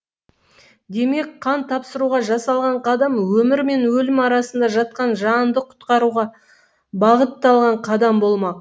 демек қан тапсыруға жасалған қадам өмір мен өлім арасында жатқан жанды құтқаруға бағытталған қадам болмақ